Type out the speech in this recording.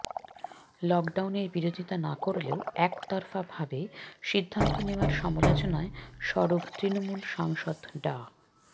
লকডাউনের বিরোধিতা না করলেও একতরফাভাবে সিদ্ধান্ত নেওয়ার সমালোচনায় সরব তৃণমূল সাংসদ ডা